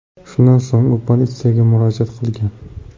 Shundan so‘ng u politsiyaga murojaat qilgan.